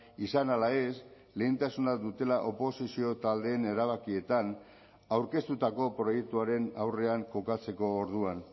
izan ala ez lehentasuna dutela oposizio taldeen erabakietan aurkeztutako proiektuaren aurrean kokatzeko orduan